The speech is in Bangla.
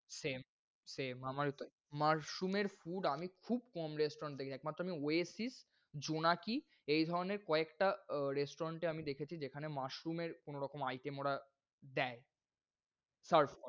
same same আমারও তাই, mushroom এর food আমি খুব কম restaurant দেখেছি। একমাত্র আমি Oasis, জোনাকি, এই ধরনের কয়েকটা restaurant এ আমি দেখেছি। যেখানে mushroom এর কোনরকম item ওরা দেয় serve